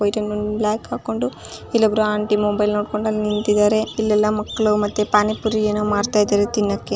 White and black ಹಾಕೊಂಡು ಇಲ್ಲೆ ಇಬ್ಬರು ಆಂಟಿ ಮೊಬೈಲ್ ನೋಡಕ್ಕೊಂದು ಅಲ್ಲೇ ನಿಂತಿದ್ದಾರೆ. ಇಲ್ಲೇ ಎಲ್ಲ ಮಕ್ಕಳು ಮತ್ತೆ ಪಾನಿಪುರಿ ಏನೋ ಮಾಡ್ತಾ ಇದ್ದಾರೆ ತಿನ್ನಕ್ಕೆ.